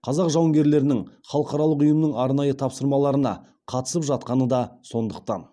қазақ жауынгерлерінің халықаралық ұйымның арнайы тапсырмаларына қатысып жатқаны да сондықтан